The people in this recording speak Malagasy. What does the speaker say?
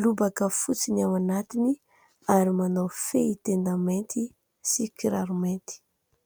Lobaka fotsy ny ao anatiny ary manao fehitenda mainty sy kiraro mainty.